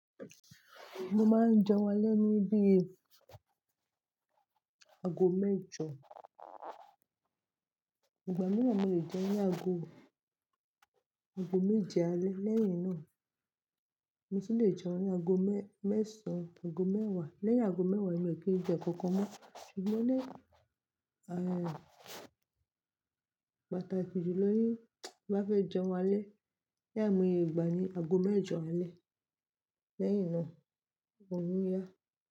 Mo máa ń jẹun alẹ́ ní bí i ago mẹ́jọ. Ìgbà mìíràn mo lè jẹun ní ago, ago méje alẹ́. Lẹ́yìn náà mo tu lè jẹun ní ago mẹ́, mẹ́sàn, ago mẹ́wàá. Lẹ́yìn ago mẹ́wàá emi o kì í jẹ nkankan mọ́. Ṣùgbọ́n ní, a, pàtàkì jùlọ ni bá fẹ́ jẹun alẹ́, ni àìmọye ìgbà ni ago mẹ́jọ alẹ́. Lẹ́yìn náà, òrun yà.